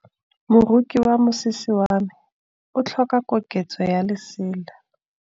Moroki wa mosese wa me o tlhoka koketsô ya lesela.